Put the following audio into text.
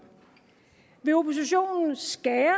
vil oppositionen skære